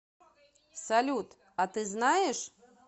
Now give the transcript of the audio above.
салют а ты знаешь